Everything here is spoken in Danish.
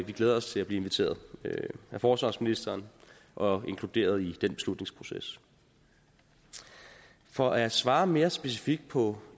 vi glæder os til at blive inviteret af forsvarsministeren og inkluderet i den beslutningsproces for at svare mere specifikt på